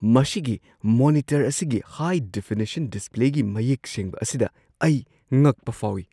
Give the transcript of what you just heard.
ꯃꯁꯤꯒꯤ ꯃꯣꯅꯤꯇꯔ ꯑꯁꯤꯒꯤ ꯍꯥꯏ-ꯗꯦꯐꯤꯅꯤꯁꯟ ꯗꯤꯁꯄ꯭ꯂꯦꯒꯤ ꯃꯌꯦꯛ ꯁꯦꯡꯕ ꯑꯁꯤꯗ ꯑꯩ ꯉꯛꯄ ꯐꯥꯎꯏ꯫